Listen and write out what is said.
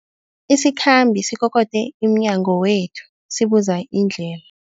Isikhambi sikokode emnyango wethu sibuza indlela.